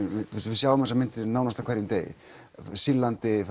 við sjáum þessar myndir nánast á hverjum degi frá Sýrlandi